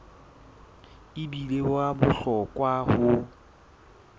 e bile wa bohlokwa ho